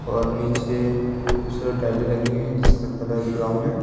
और नीचे खूबसूरत टाइलें लगी हुई है जिसका कलर ब्राउन है।